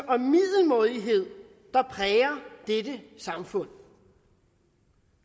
og middelmådighed der præger dette samfund